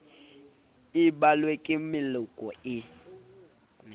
e balwe ke meloko e